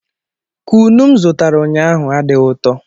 Kunu m zụtara ụnyaahụ adịghị ụtọ.